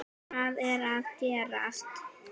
HVAÐ ER AÐ GERAST??